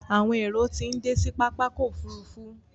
Àwọn èrò tí ń dé sí pápákọ̀ òfurufú.